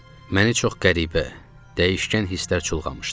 Məni çox qəribə, dəyişkən hisslər çulğamışdı.